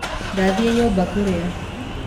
Ndathiĩ nyũmba kũrĩa